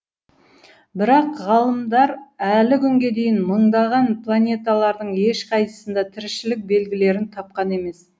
бірақ ғалымдар әлі күнге дейін мыңдаған планеталардың ешқайсысында тіршілік белгілерін тапқан емес